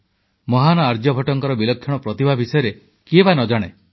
ମହାନ ଆର୍ଯ୍ୟଭଟ୍ଟଙ୍କର ବିଲକ୍ଷଣ ପ୍ରତିଭା ବିଷୟରେ କିଏ ବା ନ ଜାଣେ